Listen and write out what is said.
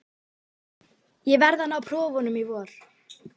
Ég verð að ná prófunum í vor.